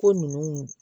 Ko nunnu